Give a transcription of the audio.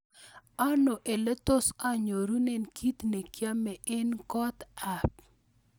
Ano ole tos anyorune kit ne kiame en kot ab